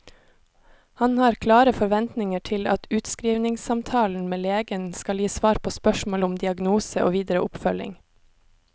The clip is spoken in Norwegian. Han har klare forventninger til at utskrivningssamtalen med legen skal gi svar på spørsmål om diagnose og videre oppfølging.